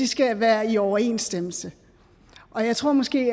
skal være i overensstemmelse og jeg tror måske